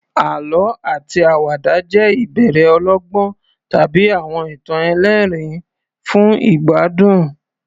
Àlọ́ àti àwàdà jẹ́ ìbéèrè ọlọ́gbọ́n tàbí àwọn ìtàn ẹlẹ́rìn-ín fún ìgbádùn.